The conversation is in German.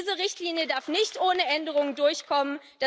Diese Richtlinie darf nicht ohne Änderung durchkommen.